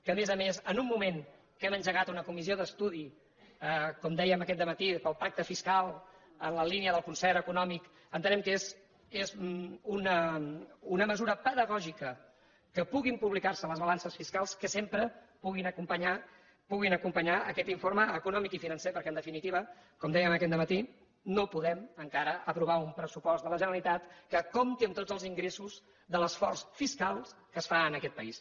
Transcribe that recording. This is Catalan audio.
a més a més en un moment en què hem engegat una comissió d’estudi com dèiem aquest matí pel pacte fiscal en la línia del concert econòmic entenem que és una mesura pedagògica que puguin publicar se les balances fiscals que sempre puguin acompanyar aquest informe econòmic i financer perquè en definitiva com dèiem aquest matí no podem encara aprovar un pressupost de la generalitat que compti amb tots els ingressos de l’esforç fiscal que es fa en aquest país